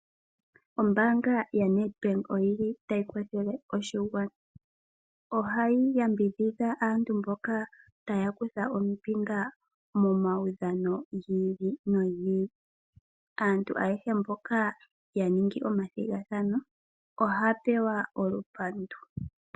Ombaanga yaNedbank oyili tayi kwathele oshigwana. Ohayi yambidhidha aantu mboka tayakutha ombinga momawudhano gi ili nogi ili. Aantu ayehe mboka yaningi ethigathano ohaya pewa olupandu.